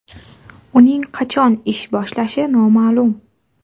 Uning qachon ish boshlashi noma’lum.